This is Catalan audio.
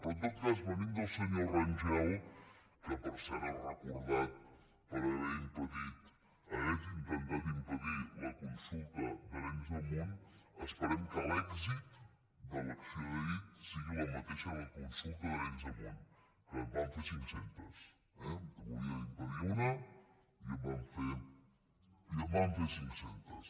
però en tot cas venint del senyor rangel que per cert és recordat per haver intentat impedir la consulta d’arenys de munt esperem que l’èxit de l’acció d’ahir sigui el mateix que el de la consulta d’arenys de munt i en vam fer cinccentes eh en volia impedir una i en vam fer cinccentes